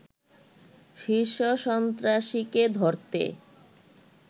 শীর্ষ সন্ত্রাসীকে ধরতে